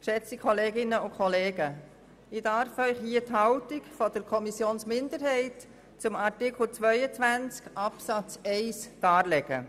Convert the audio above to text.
Ich darf Ihnen hier die Haltung der Kommissionsminderheit zu Artikel 22 Absatz 1 darlegen.